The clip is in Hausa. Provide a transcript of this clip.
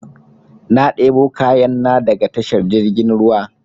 Na debo kayan na daga tashar jirgin ruwa